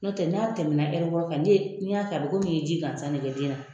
N'o tɛ n'a tɛmɛna wɔɔrɔ kan n'i y'a kɛ a bɛ komi i ye ji gansan de kɛ den na